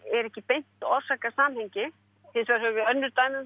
er ekki beint orsakasamhengi hins vegar höfum við önnur dæmi um